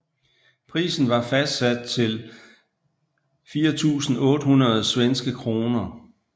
Prisen var fastsat til 4800 svenske kroner